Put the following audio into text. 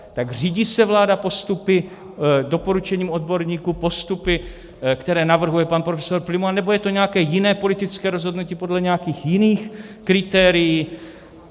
Tak řídí se vláda postupy, doporučením odborníků, postupy, které navrhuje pan profesor Prymula, nebo je to nějaké jiné politické rozhodnutí, podle nějakých jiných kritérií?